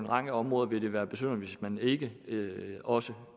række områder ville være besynderligt hvis man ikke også